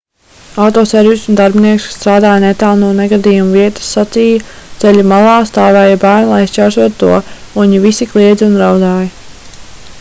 autoservisa darbinieks kas strādāja netālu no negadījuma vietas sacīja ceļa malā stāvēja bērni lai šķērsotu to un viņi visi kliedza un raudāja